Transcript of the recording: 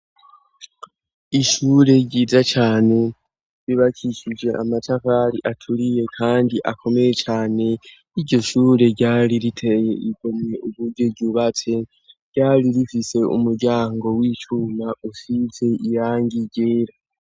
Ishure ryiza cane bubakishije amatafari aturiye kandi akomeye cane iryo shure ryari riteye igomwe uburyo ryubatse ryari rifise umuryango w'icuma usize irangi ryera.